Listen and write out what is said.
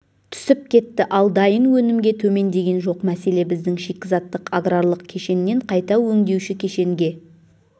түсіп кетті ал дайын өнімге төмендеген жоқ мәселе біздің шикізаттық аграрлық кешеннен қайта өңдеуші кешенге